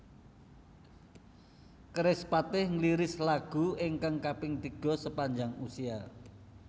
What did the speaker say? Kerispatih ngliris album ingkang kaping tiga Sepanjang Usia